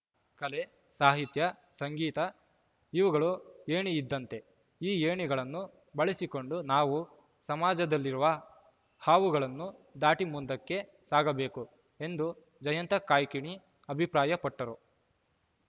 ಕಲೆ ಸಾಹಿತ್ಯ ಸಂಗೀತ ಇವುಗಳು ಏಣಿಯಿದ್ದಂತೆ ಈ ಏಣಿಗಳನ್ನು ಬಳಸಿಕೊಂಡು ನಾವು ಸಮಾಜದಲ್ಲಿರುವ ಹಾವುಗಳನ್ನು ದಾಟಿ ಮುಂದಕ್ಕೆ ಸಾಗಬೇಕು ಎಂದು ಜಯಂತ ಕಾಯ್ಕಿಣಿ ಅಭಿಪ್ರಾಯ ಪಟ್ಟರು